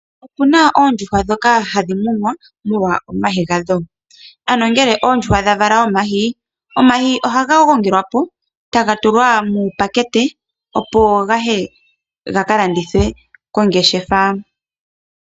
Opu na oondjuhwa ndhoka hadhi munwa molwa omayi gadho, ano ngele oondjuhwa dha vala omayi oha ga gongelwapo e taga tulwa muupakete opo gaye ga kalandithwe kongeshefa.